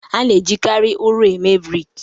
A na-ejikarị ụrọ eme brik